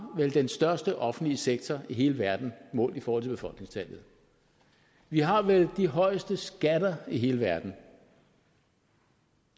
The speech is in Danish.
den største offentlige sektor i hele verden målt i forhold til befolkningstallet vi har vel de højeste skatter i hele verden